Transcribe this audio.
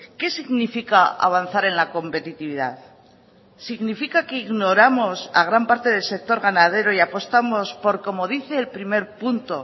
qué significa avanzar en la competitividad significa que ignoramos a gran parte del sector ganadero y apostamos por como dice el primer punto